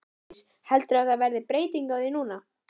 Bryndís: Heldurðu að það verði breyting á því núna?